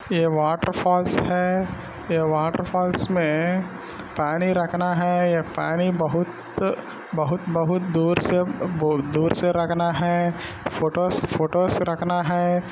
ये water falls है ये वाटर फॉल्स में पानी रखना है ये पानी बहुत बहुत बहुत दूर से अब्ब-बो-ब दूर से रखना है फोटोज फोटो रखना है।